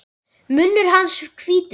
Munnur hans hvítur.